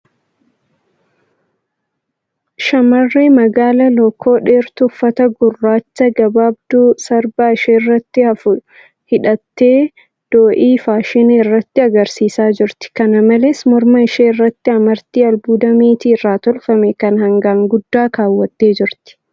Shamarree magaala lookoo dheertuu uffata gurraacha gabaabduu sarbaa isheerratti hafu hidhattee do'ii faashinaa irratti agarsiisaa jirti. Kana malees, Morma ishee irratti amartii albuuda meetii irraa tolfame kan hangaan guddaa keewwattee jirti.